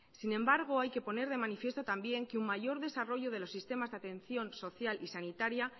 sin embargo hay que poner de manifiesto también que un mayor desarrollo de los sistemas de atención social y sanitaria